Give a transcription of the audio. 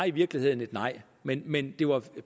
i virkeligheden et nej men men det var